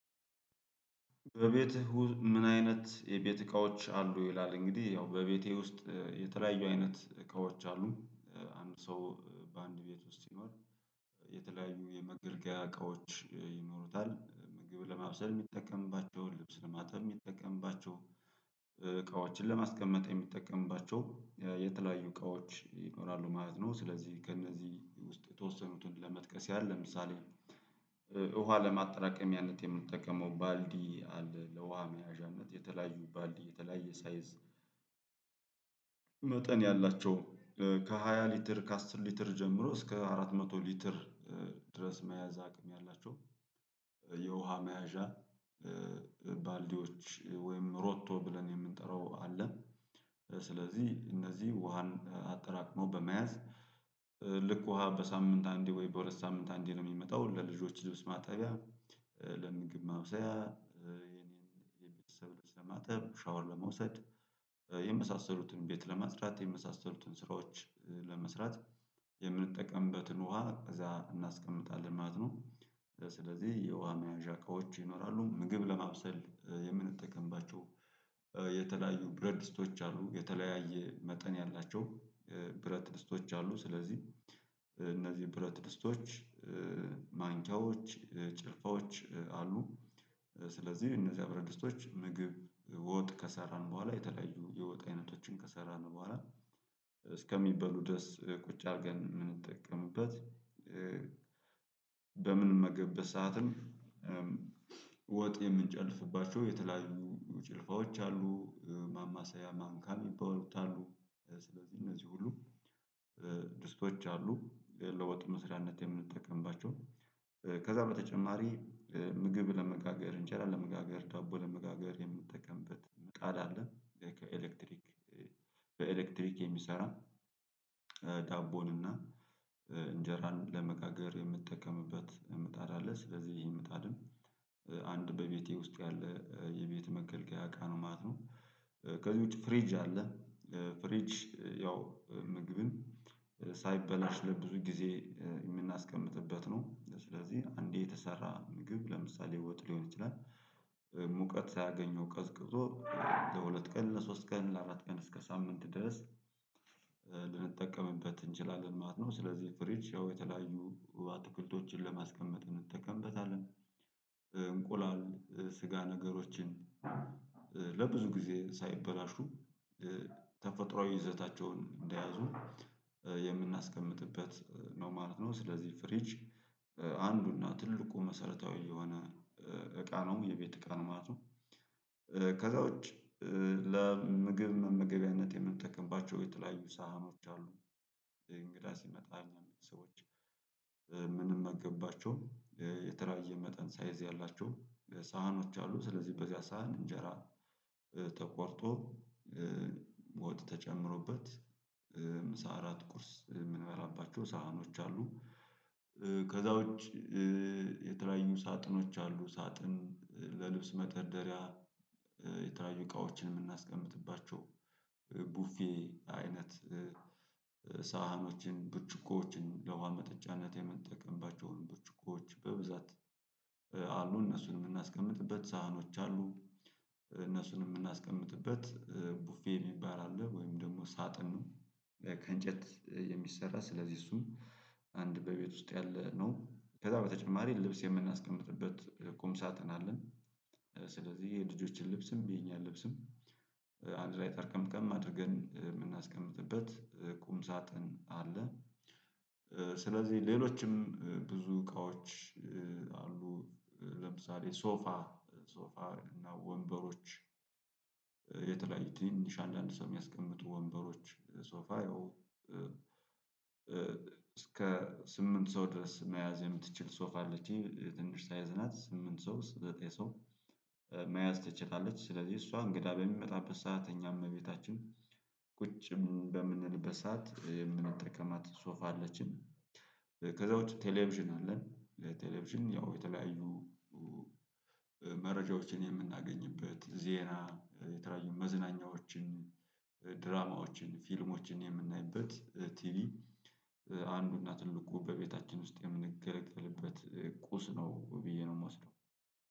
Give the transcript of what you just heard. በቤትህ? ምን አይነት የቤት እቃዎች አሉ ይላል እንግዲህ ያው በቤቴ ውስጥ የተለያዩ አይነት እቃዎች አሉ። አንድ ሰው በአንድ ቤት ውስጥ ሲኖር የተለያዩ የመገልገያ እቃዎች ይኖሩታል ምግብ ለማብሰል ሚጠቀምባቸውን ልብስ ለማጠብ ሚጠቀምባቸውን ለማስቀመጥ የሚጠቀምባቸው የተለያዩ እቃዎች ይኖራሉ ማለት ነው። ስለዚህ ከእነዚህ ውስጥ የተወሰኑትን ለመጥቀስ ያለ ለምሳሌ ውሃ ለማጠራቀሚያነት የምንጠቀመው ባልዲ አለ። ለውሃ መያዣነት የተለያዩ ባልዲ የተለያየ ሳይዝ መጠን ያላቸው ከሃያ ሊትር ከአስር ሊትር ጀምሮ እስከ አራት መቶ ሊትር ድረስ መያዝ አቅም ያላቸው የውሃ መያዣ ባልዲዎች ወይም ሮቶ ብለን የምንጠራው አለ። ስለዚህ እነዚህ ውሃን አጠራቅሞ በመያዝ ልክ ውሃ በሳምንት አንዴ ወይ በሁለት ሳምንት አንዴ ነው የሚመጣው ለልጆች ልብስ ማጠቢያ ለምግብ ማብሰያ ያ የኔን የቤተሰብ ለማጠብ ሻወር ለመውሰድ የመሳሰሉትን ቤት ለማጽዳት የመሳሰሉትን ስራዎች ለመስራት የምንጠቀምበትን ውሃ እዛ እናስቀምጣለን ማለት ነው። ስለዚህ የውሃ መያዣ እቃዎች ይኖራሉ ምግብ ለማብሰል የምንጠቀምባቸው የተለያዩ ብረት ድስቶች አሉ። የተለያየ መጠን ያላቸው ብረት ድስቶች አሉ ስለዚህ እነዚህ ብረት ድስቶች ማንኪያዎች ጭልፋዎች አሉ። ስለዚህ እነዚያ ብረት ድስቶች ምግብ ወጥ ከሰራን በኋላ የተለያዩ የወጥ አይነቶችን ከሰራን በኋላ እስከሚበሉ ድረስ ቁጭ አርገን ምንጠቀምበት በምንመገበት ሰዓትም ወጥ የምንጨልፍባቸው የተለያዩ ጭልፋዎች አሉ። ማማሰያ ማንካም ሚባሉት አሉ። ስለዚህ እነዚህ ሁሉ ድስቶች አሉ ለወጥ መስሪያነት የምንጠቀምባቸው ከዛ በተጨማሪ ምግብ ለመጋገር እንጀራ ለመጋገር ዳቦ ለመጋገር የምንጠቀምበት ምጣድ አለ። ከኤሌክትሪክ በኤሌክትሪክ የሚሰራ ዳቦን እና እንጀራን ለመጋገር የምጠቀምበት ምጣድ አለ። ስለዚህ ይሄ ምጣድም አንድ በቤቴ ውስጥ ያለ የቤት መገልገያ እቃ ነው ማለት ነው። ከዚህ ውጪ ፍሪጅ አለ። ፍሪጅ ያው ምግብን ሳይበላሽ ለብዙ ጊዜ የምናስቀምጥበት ነው። ስለዚህ አንዴ የተሰራ ምግብ ለምሳሌ ወጥ ሊሆን ይችላል። ሙቀት ሳያገኘው ቀዝቅዞ ለሁለት ቀን ለሶስት ቀን ለአራት ቀን እስከ ሳምንት ድረስ ልንጠቀምበት እንችላለን ማለት ነው። ስለዚህ ፍሪጅ ያው የተለያዩ አትክልቶችን ለማስቀመጥ እንጠቀምበታለን። እንቁላል ስጋ ነገሮችን ለብዙ ጊዜ ሳይበላሹ ተፈጥሮአዊ ይዘታቸውን እንደያዙ የምናስቀምጥበት ነው ማለት ነው። ስለዚህ ፍሪጅ አንዱና ትልቁ መሰረታዊ የሆነ እቃ ነው የቤት እቃ ማለት ነው። ከዛ ውጪ ለምግብ መመገቢያነት የምንጠቀምባቸው የተለያዩ ሳህኖች አሉ። እንግዳ ሲመጣ እኛ ሰዎች ምንመገባቸውን የተለያየ መጠን ሳይዝ ያላቸው ሳህኖች አሉ ስለዚህ በዚያ ሳህን እንጀራ ተቆርጦ ወጥ ተጨምሮበት ምሳ አራት ቁርስ የምንበላባቸው ሳህኖች አሉ። ከዛ ውጪ የተለያዩ ሳጥኖች አሉ ሳጥን ለልብስ መደርደሪያ የተለያዩ እቃዎችን ምናስቀምጥባቸው ቡፌ አይነት ሳህኖችን ብርጭቆዎችን ለውሃ መጠጫነት የምንጠቀምባቸውን ብርጭቆዎች በብዛት አሉ እነሱን የምናስቀምጥበት ሳህኖች አሉ። እነሱን የምናስቀምጥበት ቡፌ የሚባል አለ ወይም ደግሞ ሳጥን ነው ከእንጨት የሚሰራ ስለዚህ እሱን አንድ በቤት ውስጥ ያለ ነው ከዛ በተጨማሪ ልብስ የምናስቀምጥበት ቁም ሳጥን አለን። ስለዚህ የልጆችን ልብስም የኛን ልብስም አንድ ላይ ጠርቀምቀም አድርገን የምናስቀምጥበት ቁም ሳጥን አለ። ስለዚህ ሌሎችም ብዙ እቃዎች አሉ። ለምሳሌ ሶፋ ሶፋ እና ወንበሮች የተለያዩ ትንንሽ አንዳንድ ሰው የሚያስቀምጡ ወንበሮች ሶፋ ያው እስከ ስምንት ሰው ድረስ መያዝ የምትችል ሶፍ አለች ትንሽ ሳይዝ ናት ስምንት ሰው ዘጠኝ ሰው ትችላለች ስለዚህ እሷ እንግዳ በሚመጣበት ሰዓት እኛ እቤታችን ቁጭ በምንልበት ሰዓት የምንጠቀማት ሶፋ አለችን። ከዛ ውጪ ቴሌቪዥን አለን። ለቴሌቪዥን ያው የተለያዩ መረጃዎችን የምናገኝበት ዜና የተለያዩ መዝናኛዎችን ድራማዎችን ፊልሞችን የምናይበት ቲቢ አንዱና ትልቁ በቤታችን ውስጥ የምንገለገልበት ቁስ ነው ብዬ ነው ምወስደው።